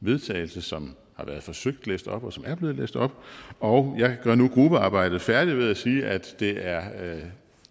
vedtagelse som har været forsøgt læst op og som er blevet læst op og jeg gør nu gruppearbejdet færdigt ved at sige at det er